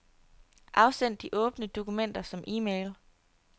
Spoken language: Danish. Afsend de åbne dokumenter som e-mail.